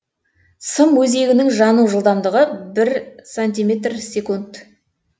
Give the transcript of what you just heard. сым өзегінің жану жылдамдығы бір сантиметр секунд